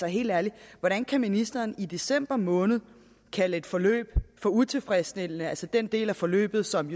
helt ærligt hvordan kan ministeren i december måned kalde et forløb for utilfredsstillende altså den del af forløbet som